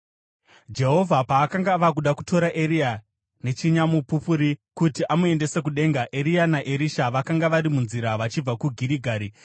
Jehovha paakanga ava kuda kutora Eria nechinyamupupuri kuti amuendese kudenga, Eria naErisha vakanga vari munzira vachibva kuGirigari.